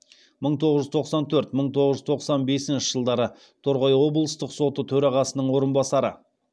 мың тоғыз жүз тоқсан төрт мың тоғыз жүз тоқсан бесінші жылдары торғай облыстық соты төрағасының орынбасары